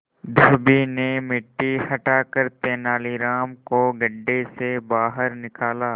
धोबी ने मिट्टी हटाकर तेनालीराम को गड्ढे से बाहर निकाला